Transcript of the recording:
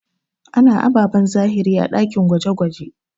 A na ababen zahiri a ɗakin gwaje-gwaje.